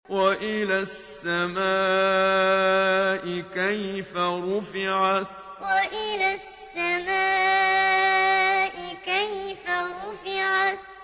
وَإِلَى السَّمَاءِ كَيْفَ رُفِعَتْ وَإِلَى السَّمَاءِ كَيْفَ رُفِعَتْ